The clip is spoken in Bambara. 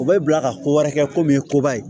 U bɛ bila ka ko wɛrɛ kɛ komi ye koba ye